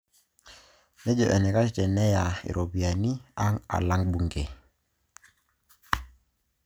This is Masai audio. Nejo enaikash teneya iropoyian aang' alang' bunge